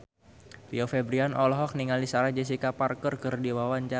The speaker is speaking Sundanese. Rio Febrian olohok ningali Sarah Jessica Parker keur diwawancara